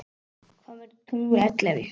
Hvað mörg tungl ellefu?